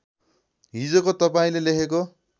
हिजोको तपाईँले लेखेको